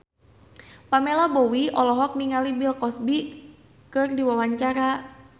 Pamela Bowie olohok ningali Bill Cosby keur diwawancara